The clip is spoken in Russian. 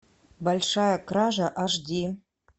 большая кража аш ди